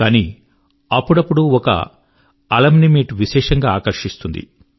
కానీ అప్పుడప్పుడూ ఒక అలుమ్ని మీట్ విశేషం గా ఆకర్షిస్తుంది